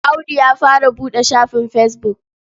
Audu ya fara buɗe shafin fesbuk.